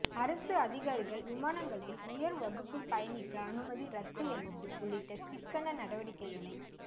அரசு அதிகாரிகள் விமானங்களில் உயர் வகுப்பில் பயணிக்க அனுமதி ரத்து என்பது உள்ளிட்ட சிக்கன நடவடிக்கைகளை